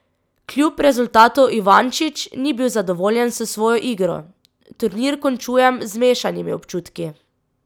Kljub rezultatu Ivančič ni bil zadovoljen s svojo igro: "Turnir končujem z mešanimi občutki.